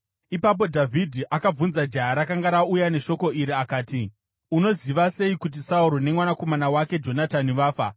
Ipapo Dhavhidhi akabvunza jaya rakanga rauya neshoko iri akati, “Unoziva sei kuti Sauro nemwanakomana wake Jonatani vafa?”